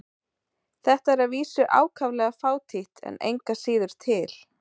Þetta er að vísu ákaflega fátítt en engu að síður til.